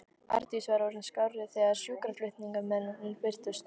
Arndís var orðin skárri þegar sjúkraflutningamennirnir birtust.